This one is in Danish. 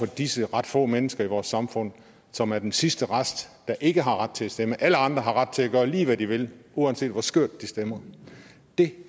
disse ret få mennesker i vores samfund som er den sidste rest der ikke har ret til at stemme alle andre har ret til at gøre lige hvad de vil uanset hvor skørt de stemmer det